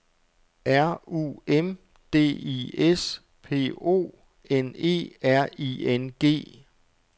R U M D I S P O N E R I N G